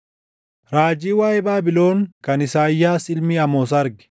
Raajii waaʼee Baabilon kan Isaayyaas ilmi Amoos arge: